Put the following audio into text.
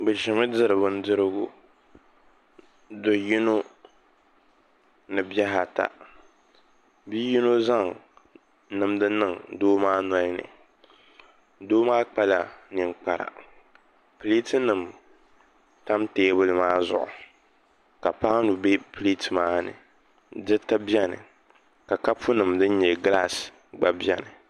Bi ʒimi diri bindirigu do yino ni bihi ata bia yino zaŋ nimdi niŋ doo maa nolini doo maa kpala ninkpara pileet nim tam teebuli maa zuɣu ka paanu bɛ pileet maa ni diriti biɛni ka kapu nim din nyɛ gilaas gba biɛni